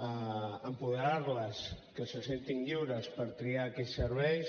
apoderar les que se sentin lliures per triar aquells serveis